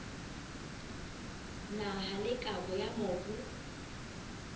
naha le kabo ya mobu